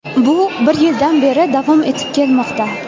Bu bir yildan beri davom etib kelmoqda.